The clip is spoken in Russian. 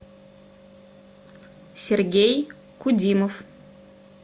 сергей кудимов